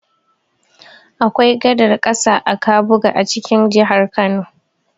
Akwai gadar ƙasa a Kabuga a cikin jihar Kano.